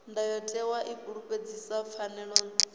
ndayotewa i fulufhedzisa pfanelo dzavho